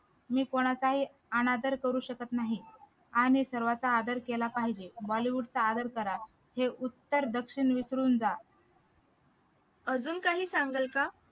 मी कोणाचाही अनादर करू शकत नाही आणि सर्वांचा आदर केला पाहिजे bollywood चा आदर करा हे उत्तर दक्षिण विसरून जा